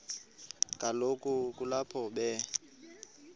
kaloku kulapho be